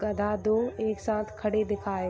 गधा दो एक साथ खड़े दिखाई --